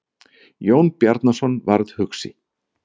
Jón Bjarnason varð hugsi.